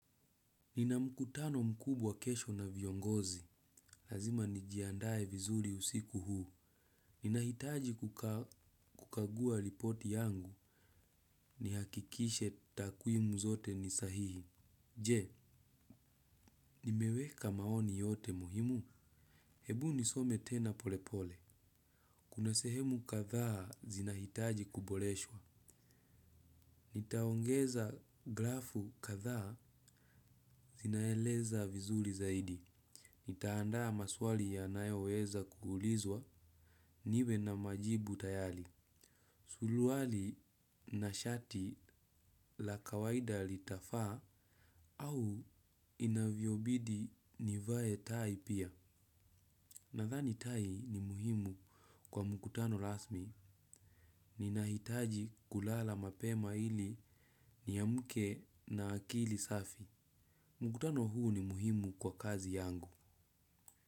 Nina mkutano mkubwa kesho na viongozi. Lazima nijiandae vizuri usiku huu. Nina hitaji kukagua ripoti yangu nihakikishe takwimu zote ni sahihi. Je, nimeweka maoni yote muhimu. Hebu nisome tena polepole. Kunasehemu kadhaa zina hitaji kuboreshwa. Nitaongeza grafu katha zinaeleza vizuri zaidi. Nitaandaa maswali yanayoweza kuulizwa niwe na majibu tayari. Suruali na shati la kawaida litafaa au inavyo bidi nivae tai pia. Nadhani tai ni muhimu kwa mkutano rasmi. Ninahitaji kulala mapema ili niamke na akili safi. Mkutano huu ni muhimu kwa kazi yangu.